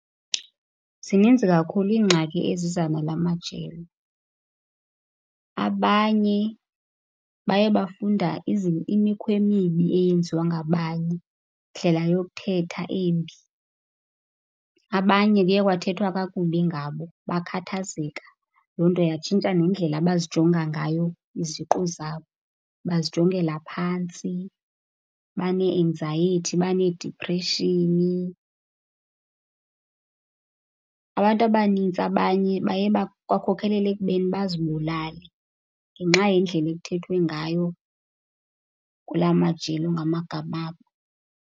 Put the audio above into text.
Zininzi kakhulu iingxaki eziza nala majelo. Abanye baye bafunda imikhwa emibi eyenziwa ngabanye, indlela yokuthetha embi. Abanye kuye kwathethwa kakubi ngabo bakhathazeka, loo nto yatshintsha nendlela abazijonga ngayo iziqu zabo. Bazijongela phantsi banee-anxiety, baneediphreshini. Abantu abanintsi abanye baye kwakhokelela ekubeni bazibulale ngenxa yendlela ekuthethwe ngayo kula majelo ngamagama abo.